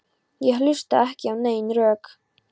Ég hlustaði ekki á nein rök.